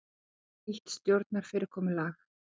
Vilja nýtt stjórnarfyrirkomulag